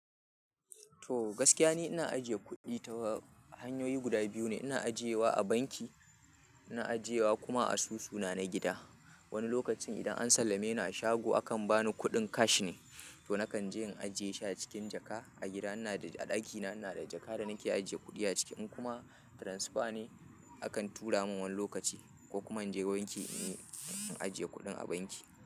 To, gaskiya ne ina ajiye kuɗi ta hanyoyi guda biyu ne. Ina ajiyewa a banki, ina ajiyewa kuma asusuna na gida. Wani lokacin idan an sallame ni a shago, akan ba ni kuɗin cash ne, to nakan je in ajiye shi a cikin jaka. A gida ina da a ɗakina ina da jaka da nake ajiye kuɗi a ciki. In kuma transfer ne, akan tura min wani lokaci ko kuma in je banki, in ajiye kuɗin a banki.